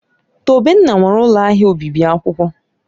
Tobenna nwere ụlọ ahịa obibi akwụkwọ.